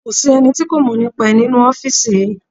Kò sí ẹni tí kò mọ̀ nípa ẹ̀ nínú ọ́fìsì yìí